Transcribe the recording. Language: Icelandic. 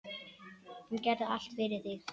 Hún gerði allt fyrir þig.